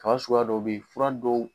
Kan suguya dɔ bɛ yen furan dɔw